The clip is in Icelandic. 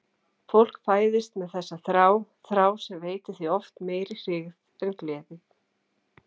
Fólk fæðist með þessa þrá, þrá sem veitir því oft meiri hryggð en gleði.